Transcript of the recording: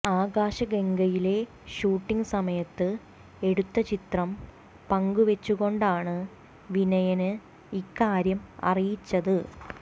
ആകാശഗംഗയിലെ shooting സമയത്ത് എടുത്ത ചിത്രം പങ്കുവെച്ചുകൊണ്ടാണ് വിനയന് ഇക്കാര്യം അറിയിച്ചത്